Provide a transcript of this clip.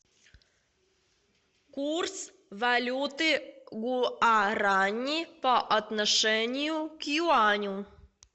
курс валюты гуарани по отношению к юаню